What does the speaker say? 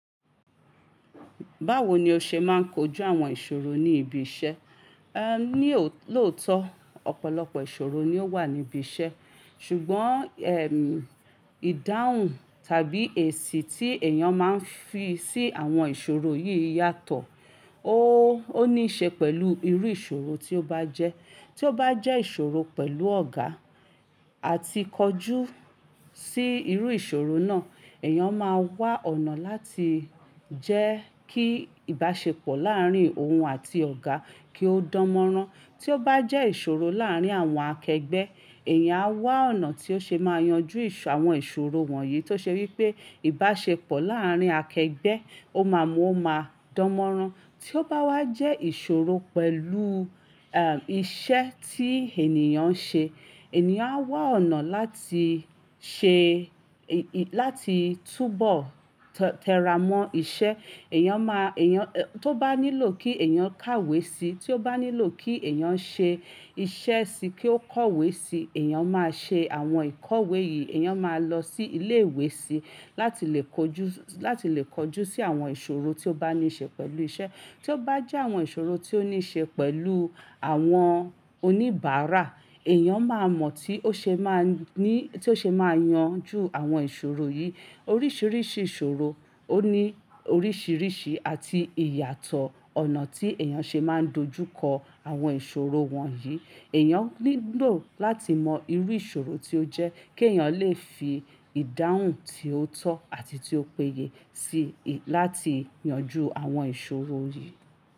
Báwo ni o ṣe máa ń kojú àwọn ìṣòro ní ibi iṣẹ́? Ní òótọ́ ọ̀pọ̀lọpọ̀ ìṣòro ni ó wà ní ibi iṣẹ́ ṣùgbọ́n, ìdáhùn tàbí èsì tí èèyàn máa ń fi sí àwọn ìṣòro yìí yàtọ̀. O níí ṣe pẹ̀lú irú ìṣòro tí ó bá jẹ́. Tí ó bá jẹ́ ìṣòro pẹ̀lú ọ̀gá àti kọjú sí irú ìṣòro náà, èèyàn máa wá ọ̀nà láti jẹ́ kí ìbáṣepọ̀ láàárín òun àti ọ̀gá kí ó dánmọ́rán. Tí ó bá jẹ́ ìṣòro láàárín àwọn akẹgbẹ́, èèyàn á wá ọ̀nà tí ó ṣe máa yanjú àwọn ìṣòro wọ̀nyí tó ṣe wí pé ìbáṣepọ̀ láàárín akẹgbẹ́ ó máa mú un-- o máa dánmọ́rán. Tí ó bá wá jẹ́ ìṣòro pẹ̀lú iṣẹ́ tí ènìyàn ń ṣe, ènìyàn á wá ọ̀nà láti ṣe, láti túbọ̀ tẹramọ́ iṣẹ́. Èèyàn máa, èèyàn tó bá nílò kí èèyàn kàwé si, tí ó bá nílò kí èèyàn ṣe iṣẹ́ síí kí ó kọ̀wé si, èèyàn máa ṣe àwọn ìkọ̀wé yìí. Èèyàn máa lọ sí ilé ìwé síí láti lè kojú, láti lè kojú sí àwọn ìṣòro tí ó bá ní ṣe pẹ̀lú iṣẹ́. Tí ó bá jẹ́ àwọn ìṣòro tí ó ní ṣe pẹ̀lú àwọn oníbàárà, èèyàn máa mọ̀ tí ó ṣe máa ní, tí ó ṣe máa yanjú àwọn ìṣòro yìí. Oríṣiríṣi ìṣòro ó ní oríṣiríṣi àti ìyàtọ̀ ọ̀nà tí èèyàn ṣe máa ń dojúkọ àwọn ìṣòro wọ̀nyí. Èèyàn nílò láti mọ irú ìṣòro tí ó jẹ́ kí èèyàn lè fi ìdáhùn tí ó tọ́ àti tí ó péye sí i láti yanjú àwọn ìṣòro yìí.